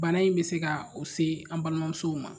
Bana in bɛ se ka o se an balimamusow ma.